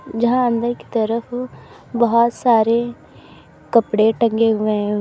जहां अंदर की तरफ बहोत सारे कपड़े टंगे हुए हैं।